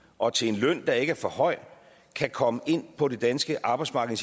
og til en løn der ikke er for høj kan komme ind på det danske arbejdsmarked